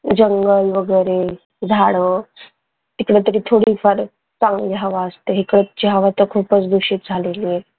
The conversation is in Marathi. जंगल वगरे झाडं तिकडे तरी थोडी फार चांगली हवा असेत इकडची हवा तर खूपच दुषित झालेली आहे.